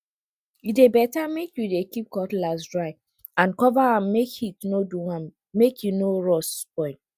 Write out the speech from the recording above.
e dey better make you dey keep cutlass dry and cover am make heat no do am make e no rust spoil